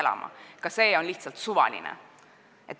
See on praegu lihtsalt suvaline.